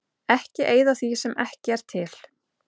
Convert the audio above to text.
Ekki eyða því sem ekki er til.